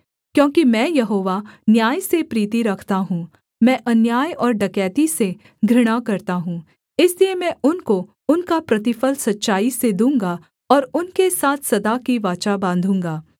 क्योंकि मैं यहोवा न्याय से प्रीति रखता हूँ मैं अन्याय और डकैती से घृणा करता हूँ इसलिए मैं उनको उनका प्रतिफल सच्चाई से दूँगा और उनके साथ सदा की वाचा बाँधूँगा